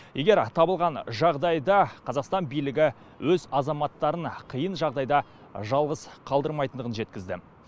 егер табылған жағдайда қазақстан билігі өз азаматтарын қиын жағдайда жалғыз қалдырмайтындығын жеткізді